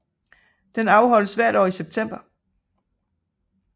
Den afholdes hvert år i september